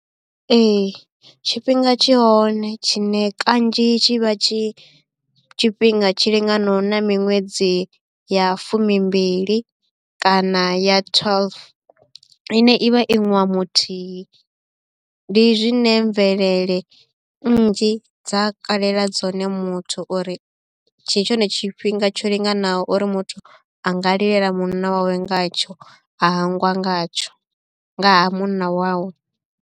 Ee tshifhinga tshi hone tshine kanzhi tshi vha tshi tshifhinga tshi linganaho na miṅwedzi ya fumi mbili kana ya twelve ine i vha i ṅwaha muthihi ndi zwine mvelele nnzhi dza kalela dzone muthu uri tshi tshone tshifhinga tsho linganaho uri muthu a nga lilela munna wawe ngatsho a hangwa ngatsho nga ha munna wawe.